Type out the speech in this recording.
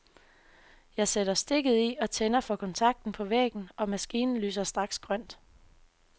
Jeg sætter stikket i og tænder for kontakten på væggen, og maskinen lyser straks grønt.